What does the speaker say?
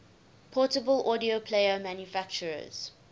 portable audio player manufacturers